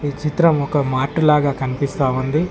ఈ చిత్రం ఒక మార్ట్ లాగా కన్పిస్తా ఉంది.